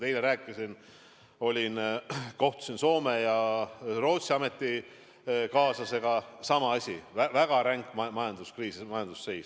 Eile ma kohtusin Soome ja Rootsi ametikaaslastega – sama asi, väga ränk majanduskriis, väga halb majandusseis.